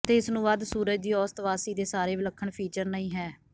ਅਤੇ ਇਸ ਨੂੰ ਵਧ ਸੂਰਜ ਦੀ ਔਸਤ ਵਾਸੀ ਦੇ ਸਾਰੇ ਵਿਲੱਖਣ ਫੀਚਰ ਨਹੀ ਹੈ